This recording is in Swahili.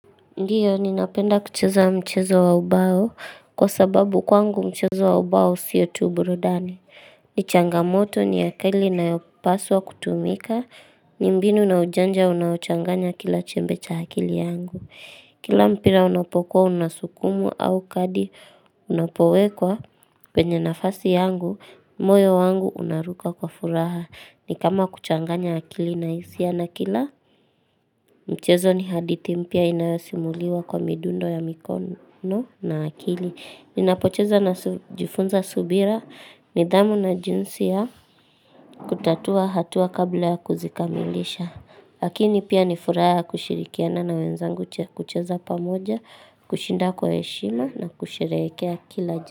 Ndiyo, ninapenda kucheza mchezo wa ubao kwa sababu kwangu mchezo wa ubao siyo tu burudani. Nichangamoto ni akili inayopaswa kutumika, ni mbinu na ujanja unaochanganya kila chembe cha akili yangu. Kila mpira unapokuwa unasukumwa au kadi unapowekwa kwenye nafasi yangu, moyo wangu unaruka kwa furaha. Ni kama kuchanganya akili na hisia na kila, mchezo ni haditi mpya inayosimuliwa kwa midundo ya mikono na akili Ninapocheza na jifunza subira nidhamu na jinsi ya kutatua hatua kabla ya kuzikamilisha lakini pia nifuraha kushirikiana na wenzangu kucheza pamoja kushinda kwa heshima na kusherehekea kila jinsi.